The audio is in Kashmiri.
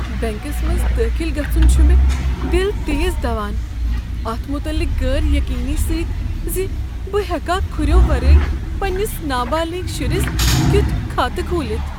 بینٛکس منٛز دٲخل گژھوُن چھُ مے٘ دِل تیز دوان ،اتھ متعلق غیر یقینی سٕتۍ زِ بہٕ ہٮ۪کا کھُرٮ۪و ورٲے پنٛنس نابالغ شرس کیتھ كھاتہٕ کھوٗلتھ۔